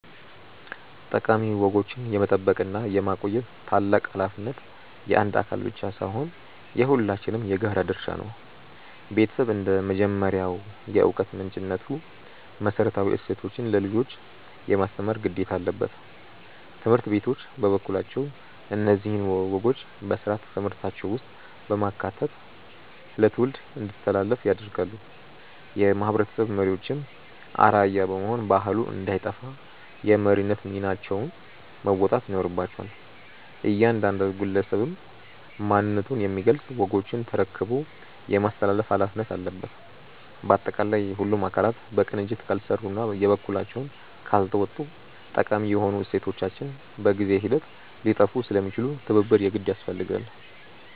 ጠቃሚ ወጎችን የመጠበቅና የማቆየት ታላቅ ኃላፊነት የአንድ አካል ብቻ ሳይሆን የሁላችንም የጋራ ድርሻ ነው። ቤተሰብ እንደ መጀመሪያው የዕውቀት ምንጭነቱ መሰረታዊ እሴቶችን ለልጆች የማስተማር ግዴታ አለበት። ትምህርት ቤቶች በበኩላቸው እነዚህን ወጎች በሥርዓተ ትምህርታቸው ውስጥ በማካተት ለትውልድ እንዲተላለፉ ያደርጋሉ። የማህበረሰብ መሪዎችም አርአያ በመሆን ባህሉ እንዳይጠፋ የመሪነት ሚናቸውን መወጣት ይኖርባቸዋል። እያንዳንዱ ግለሰብም ማንነቱን የሚገልጹ ወጎችን ተረክቦ የማስተላለፍ ኃላፊነት አለበት። ባጠቃላይ ሁሉም አካላት በቅንጅት ካልሰሩና የበኩላቸውን ካልተወጡ ጠቃሚ የሆኑ እሴቶቻችን በጊዜ ሂደት ሊጠፉ ስለሚችሉ ትብብር የግድ ያስፈልጋል።